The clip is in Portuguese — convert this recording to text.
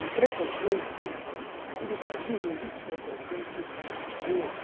E preconceito, aqui no Brasil não existe preconceito de cor.